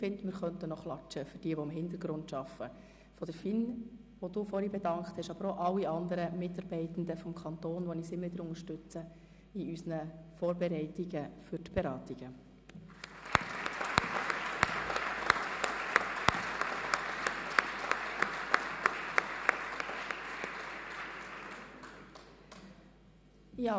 Ich finde, wir könnten jetzt einmal für diejenigen applaudieren, die im Hintergrund arbeiten, für die Leute der FIN, die der Kommissionspräsidentin vorhin erwähnt hat, aber auch für alle Mitarbeitenden des Kantons, die uns immer wieder bei unseren Vorbereitungen der Beratungen unterstützen.